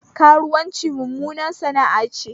Karuwanci mummunar sana'a ce